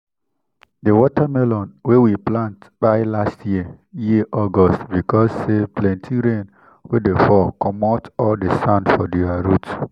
the watermelon wey we plant kpai last year year august because say plenty rain wey dey fall commot all the sand for ther root.